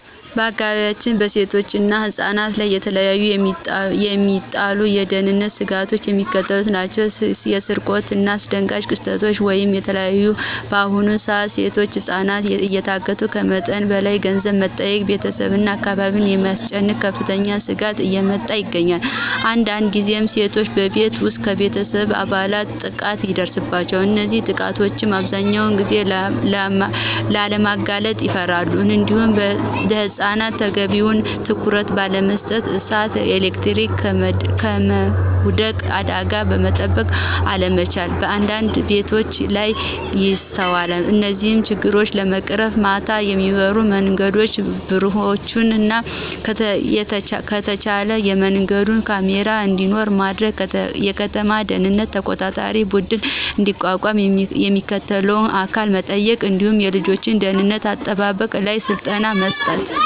በአካባቢያችን በሴቶችና ህፃናት ላይ በተለየ የሚጣሉ የደህንነት ስጋቶች የሚከተሉት ናቸው። የስርቆትናየአስደንጋጭ ክስተቶች (በተለይ በአሁኑ ሰዓት ሴቶችና ህፃናት እየታገቱ ከመጠን በላይ ገንዘብ በመጠየቅ ቤተሰብና አካባቢን በማስጨነቅ ከፍተኛ ስጋት እያመጣ ይገኛል። አንዳንድ ጊዜም ሴቶች በቤት ውስጥ ከቤተሰብ አባላት ጥቃት ይደርስባቸዋል። እነዚህንም ጥቃቶች አብዛኛውን ጊዜ ለማጋለጥ ይፈራሉ። እንዲሁም ለህፃናት ተገቢውን ትኩረት ባለመስጠት የእሳት፣ የኤሌክትሪክና ከመውደቅ አደጋ መጠበቅ አለመቻል በአንዳንድ ቤቶች ላይ ይስተዋላል። እነዚህን ችግሮች ለመቅረፍም ማታ የሚበሩ የመንገድ ብርሀኖችንና ከተቻለ በየመንገዱ ካሜራ እንዲኖር ማድረግ፣ የከተማ ደህንነት ተቆጣጣሪ ቡድን እንዲቋቋም የሚመለከተውን አካል መጠየቅ እንዲሁም የልጆች ደህንነት አጠባበቅ ላይ ስልጠና መስጠት